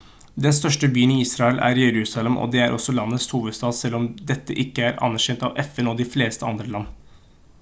den største byen i israel er jerusalem og det er også landets hovedstad selv om dette ikke er anerkjent av fn og de fleste andre land